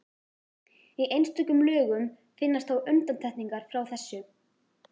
Í einstökum lögum finnast þó undantekningar frá þessu.